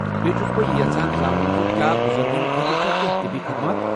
بیٚیہِ چھس بہٕ یہِ یژھان زانُن ز کیٛاہ بُزرگن خٲطرٕ چھا کینہہ طبی خدمات؟